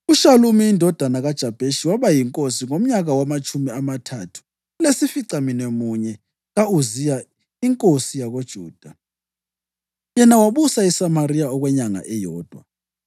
UShalumi indodana kaJabheshi waba yinkosi ngomnyaka wamatshumi amathathu lesificamunwemunye ka-Uziya inkosi yakoJuda, yena wabusa eSamariya okwenyanga eyodwa.